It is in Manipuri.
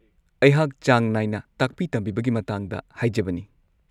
ꯑꯩꯍꯥꯛ ꯆꯥꯡ ꯅꯥꯏꯅ ꯇꯥꯛꯄꯤ-ꯇꯝꯕꯤꯕꯒꯤ ꯃꯇꯥꯡꯗ ꯍꯥꯏꯖꯕꯅꯤ꯫